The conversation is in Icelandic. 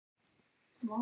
Og sú var ljót!